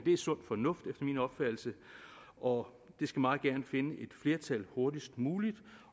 er sund fornuft efter min opfattelse og det skal meget gerne finde et flertal hurtigst muligt